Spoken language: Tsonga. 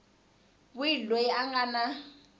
wihi loyi a nga na